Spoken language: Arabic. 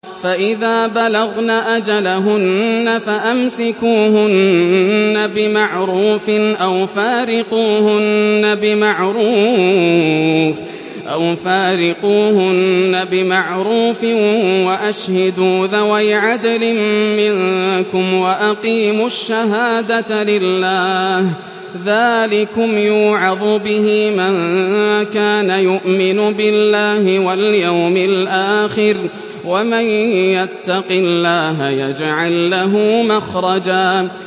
فَإِذَا بَلَغْنَ أَجَلَهُنَّ فَأَمْسِكُوهُنَّ بِمَعْرُوفٍ أَوْ فَارِقُوهُنَّ بِمَعْرُوفٍ وَأَشْهِدُوا ذَوَيْ عَدْلٍ مِّنكُمْ وَأَقِيمُوا الشَّهَادَةَ لِلَّهِ ۚ ذَٰلِكُمْ يُوعَظُ بِهِ مَن كَانَ يُؤْمِنُ بِاللَّهِ وَالْيَوْمِ الْآخِرِ ۚ وَمَن يَتَّقِ اللَّهَ يَجْعَل لَّهُ مَخْرَجًا